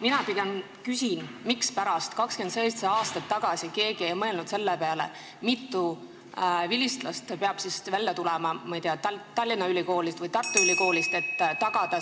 Mina pigem küsin, mispärast 27 aastat tagasi keegi ei mõelnud selle peale, mitu vilistlast peab siis tulema, ma ei tea, Tallinna Ülikoolist või Tartu Ülikoolist, et tagada